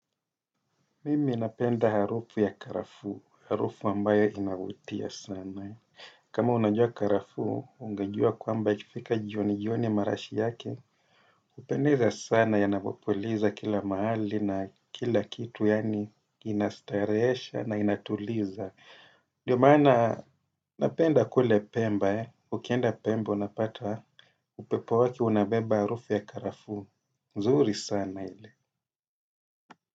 Mimi napenda harufu ya karafuu, harufu ambayo inavutia sana. Kama unajua karafuu, ungejua kwamba ikifika jioni jioni marashi yake. Hupendeza sana yanapopulizwa kila mahali na kila kitu yani inastarehesha na inatuliza. Ndio maana napenda kule pemba, ukienda pemba unapata upepo wake unabeba harufu ya karafu. Zuri sana ile.